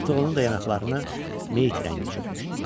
Artıq onun da yanaqlarını meyyit rəngi çökmüşdü.